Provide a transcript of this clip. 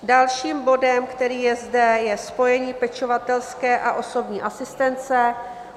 Dalším bodem, který je zde, je spojení pečovatelské a osobní asistence.